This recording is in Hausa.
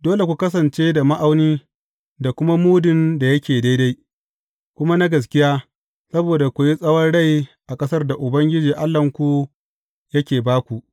Dole ku kasance da ma’aunin da kuma mudun da yake daidai, kuma na gaskiya, saboda ku yi tsawon rai a ƙasar da Ubangiji Allahnku yake ba ku.